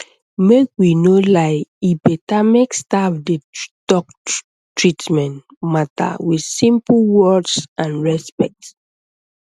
make we no lie e better make staff dey talk treatment matter with simple words and respect